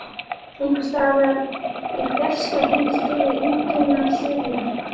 Einhversstaðar í fjarska heyrist þó eintóna suð í hjarta.